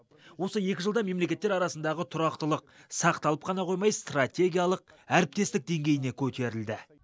осы екі жылда мемлекеттер арасындағы тұрақтылық сақталып қана қоймай стратегиялық әріптестік деңгейіне көтерілді